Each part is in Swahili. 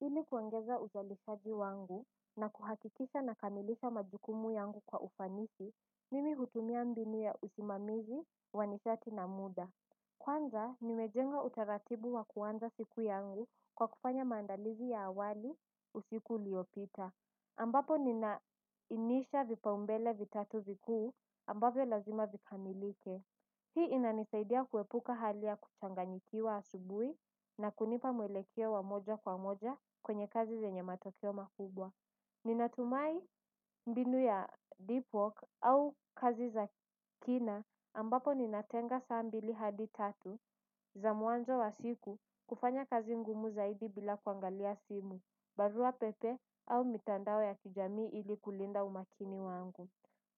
Ili kuongeza uzalishaji wangu na kuhakikisha na lkamilisha majukumu yangu kwa ufanisi mimi hutumia mbinu ya usimamizi wa nishati na muda. Kwanza nimejenga utaratibu wa kuanza siku yangu kwa kufanya maandalizi ya awali usiku uliopita ambapo ninainisha vipaumbele vitatu vikuu ambavyo lazima vikamilike. Hii inanisaidia kuepuka hali ya kuchanganyikiwa asubui na kunipa mwelekeo wa moja kwa moja kwenye kazi zenye matokeo makubwa. Ninatumai mbinu ya deep walk au kazi za kina ambapo ninatenga saa mbili hadi tatu za mwanzo wa siku kufanya kazi ngumu zaidi bila kuangalia simu, barua pepe au mitandao ya kijamii ili kulinda umakini wangu.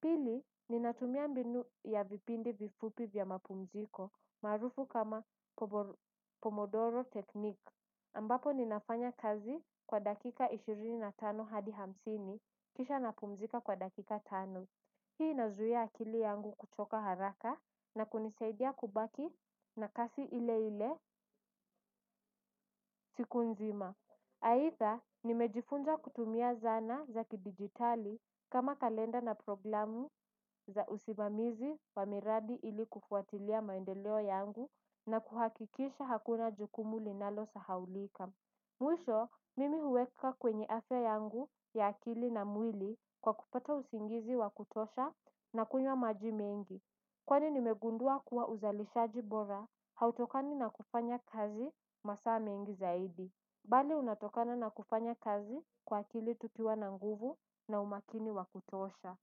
Pili, ninatumia mbinu ya vipindi vifupi vya mapumziko maarufu kama Pomodoro Technique. Ambapo ninafanya kazi kwa dakika ishirini na tano hadi hamsini kisha napumzika kwa dakika tano. Hii inazuia akili yangu kuchoka haraka na kunisaidia kubaki na kasi ile ile siku nzima. Aidha, nimejifunza kutumia zana za kidigitali kama kalenda na programu za usimamizi wa miradi ili kufuatilia maendeleo yangu na kuhakikisha hakuna jukumu linalosahaulika. Mwisho, mimi huweka kwenye afya yangu ya akili na mwili kwa kupata usingizi wa kutosha na kunywa maji mengi. Kwani nimegundua kuwa uzalishaji bora hautokani na kufanya kazi masaa mengi zaidi. Bali unatokana na kufanya kazi kwa akili tukiwa na nguvu na umakini wa kutosha.